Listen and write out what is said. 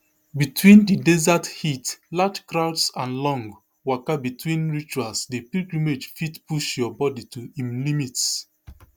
between di desert heat large crowds and long waka between rituals di pilgrimage fit push your body to im limits